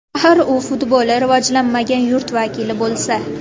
Axir u futboli rivojlanmagan yurt vakili bo‘lsa.